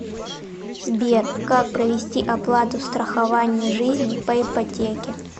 сбер как провести оплату страхование жизни по ипотеке